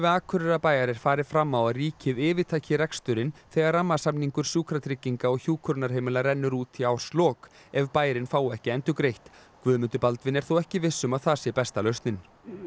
Akureyrarbæjar er farið fram á að ríkið yfirtaki reksturinn þegar rammasamningur Sjúkratrygginga og hjúkrunarheimila rennur út í árslok ef bærinn fái ekki endurgreitt Guðmundur Baldvin er þó ekki viss um að það sé besta lausnin